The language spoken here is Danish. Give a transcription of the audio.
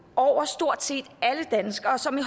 over stort set alle danskere og som i